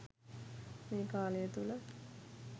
මේ කාලය තුළ